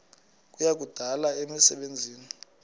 kuya kudala imisebenzi